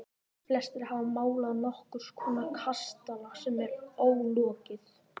Flestir hafa málað nokkurs konar kastala sem er ólokið.